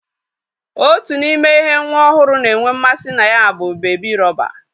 Otu n'ime ihe nwa ohuru na-enwe mmasi na ya bu bebi rọba.